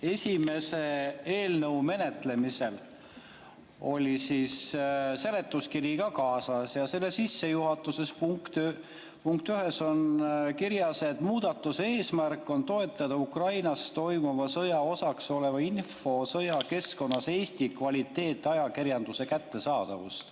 Eelnõu esimese menetlemisel oli seletuskiri ka kaasas ja selle sissejuhatuses punktis 1 on kirjas, et muudatuse eesmärk on toetada Ukrainas toimuva sõja osaks oleva infosõja keskkonnas Eesti kvaliteetajakirjanduse kättesaadavust.